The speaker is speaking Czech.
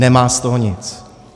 Nemá z toho nic.